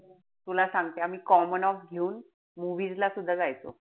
तुला सांगते आम्ही common-off घेऊन movies ला सुद्धा जायचो.